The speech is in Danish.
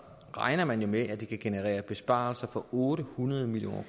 regner man jo med at det kan generere besparelser på otte hundrede million